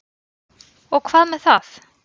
Og hvað með það?